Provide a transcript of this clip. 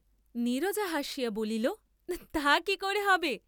নীরজা হাসিয়া বলিল তা কি করে হবে?